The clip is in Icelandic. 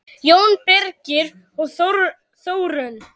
Jón Birgir og Þórunn.